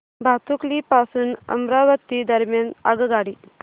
भातुकली पासून अमरावती दरम्यान आगगाडी